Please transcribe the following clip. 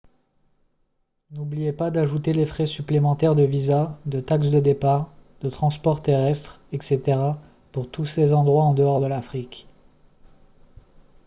n'oubliez pas d'ajouter les frais supplémentaires de visas de taxes de départ de transport terrestre etc pour tous ces endroits en dehors de l'afrique